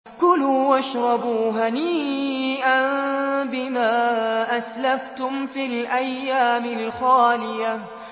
كُلُوا وَاشْرَبُوا هَنِيئًا بِمَا أَسْلَفْتُمْ فِي الْأَيَّامِ الْخَالِيَةِ